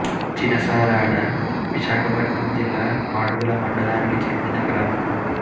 చిన సారాడ విశాఖపట్నం జిల్లా మాడుగుల మండలానికి చెందిన గ్రామం